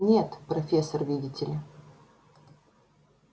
нет профессор видите ли